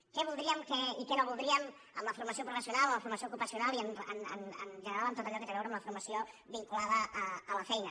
què voldríem i què no voldríem en la formació professional o en la formació ocupacional i en general en tot allò que té a veure amb la formació vinculada a la feina